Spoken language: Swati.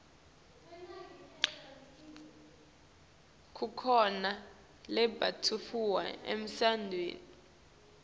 kukhona lembatfwa emasontfweni